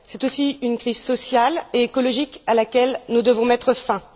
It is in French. C'est aussi une crise sociale et écologique à laquelle nous devons mettre fin.